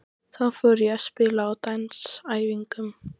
Þá fór ég að spila á dansæfingum.